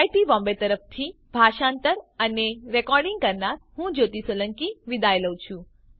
IIT Bombay તરફથી ભાષાંતર કરનાર હું જ્યોતી સોલંકી વિદાય લઉં છું